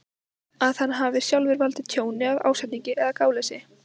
að hann hafi sjálfur valdið tjóni af ásetningi eða gáleysi.